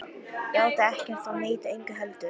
Játa ekkert og neita engu heldur.